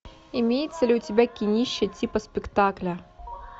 имеется ли у тебя кинище типа спектакля